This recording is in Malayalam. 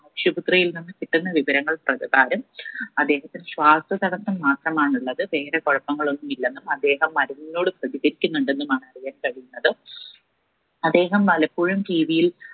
ആശുപത്രിയിൽ നിന്നും കിട്ടുന്ന വിവരങ്ങൾ പ്രകാരം അദ്ദേഹത്തിന് ശ്വാസ തടസം മാത്രമാണുള്ളത് വേറെ കുഴപ്പങ്ങളൊന്നില്ലെന്നും അദ്ദേഹം മരുന്നോട് പ്രതികരിക്കുന്നുണ്ടെന്നുമാണ് വിവരം അദ്ദേഹം വല്ലപ്പോഴും TV യിൽ